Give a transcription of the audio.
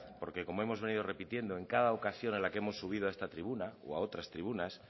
porque como hemos venido repitiendo en cada ocasión en la que hemos subido a esta tribuna o a otras tribunas